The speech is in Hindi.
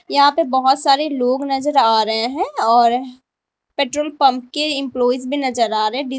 यहां पे बहोत सारे लोग नजर आ रहे हैं और पेट्रोल पंप के एम्पलॉइज भी नजर आ रहे हैं।